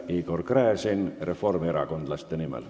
Igor Gräzin reformierakondlaste nimel.